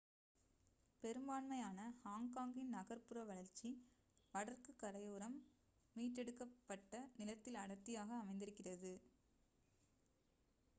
பெரும்பான்மையான ஹாங்காங்கின் நகர் புற வளர்ச்சி வடக்குக் கரையோரம் மீட்டெடுக்கப் பட்ட நிலத்தில் அடர்த்தியாக அமைந்திருக்கிறது